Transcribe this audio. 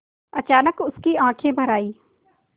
अचानक उसकी आँखें भर आईं